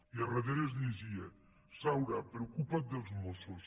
i al darrere es llegia saura preocupa’t dels mossos